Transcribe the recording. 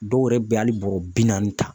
Dɔw yɛrɛ bɛ hali bɔrɔ bi naani ta.